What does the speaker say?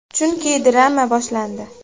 Chunki, drama boshlandi.